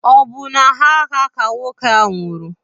Ọ bụ n'agha ka nwoke ahụ nwụrụ?